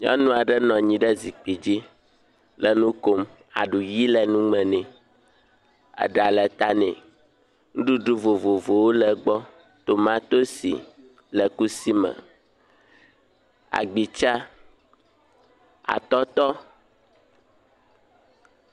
Nyɔnu aɖe nɔ anyi ɖe zikpui dzi le nu kom. Aɖu ɣi le nu me nɛ, eɖa le ta nɛ. Nuɖuɖu vovovowo le gbɔ: tomatosi le kusi me, agbitsa, atɔtɔ.